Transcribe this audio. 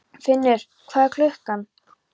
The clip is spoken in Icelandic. Finnur, hvað er klukkan?